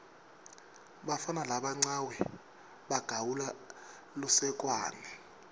bafana labancawe bagawula lusekwane